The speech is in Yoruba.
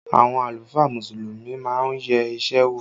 Àwọn àlùfáà Mùsùlùmí má ń yẹ isẹ wò